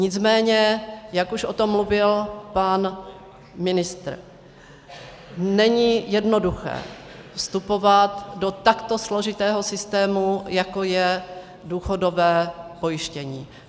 Nicméně jak už o tom mluvil pan ministr, není jednoduché vstupovat do takto složitého systému, jako je důchodové pojištění.